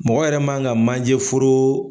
Mɔgɔ yɛrɛ man ka manje foro.